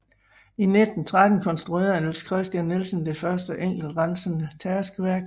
I 1913 konstruerede Niels Kristian Nielsen det første enkeltrensende tærskeværk